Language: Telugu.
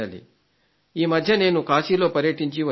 ఈ మధ్య నేను కాశీలో పర్యటించి వచ్చాను